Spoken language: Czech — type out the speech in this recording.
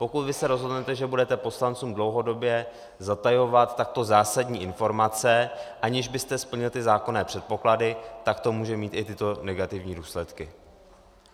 Pokud vy se rozhodnete, že budete poslancům dlouhodobě zatajovat takto zásadní informace, aniž byste splnil ty zákonné předpoklady, tak to může mít i tyto negativní důsledky.